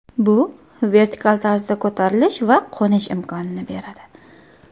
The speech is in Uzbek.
Bu vertikal tarzda ko‘tarilish va qo‘nish imkonini beradi.